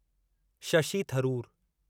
Shashi Tharoor